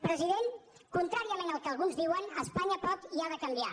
president contràriament al que alguns diuen espanya pot i ha de canviar